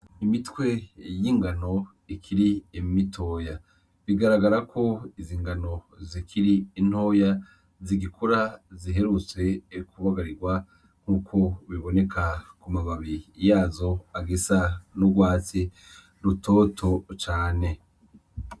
Imitwe y'ingano ikiri mitoya, bigaragara ko izi ngano zikiri ntoya zigikura ziherutse kubagarirwa nkuku biboneka ku mababi yazo agisa n'urwatsi rutoto cane.